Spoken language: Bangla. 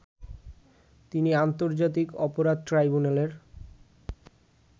তিনি আন্তর্জাতিক অপরাধ ট্রাইব্যুনালের